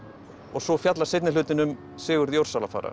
svo fjallar seinni hlutinn um Sigurð